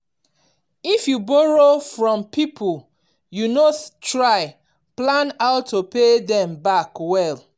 if you borrow from people you know try plan how to pay them back well.